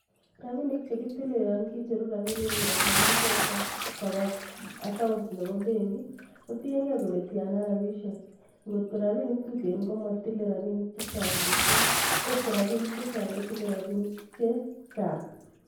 Raabinik chekitile yon kicheruu rabinik kongeten mpesa koba account nebo benkii. kotiengei kole Tiana rabisiek, angot ko rabinik tuten komitile rabinik chechang missing, ko kot ko rabinik chechang kotile rabinik chechang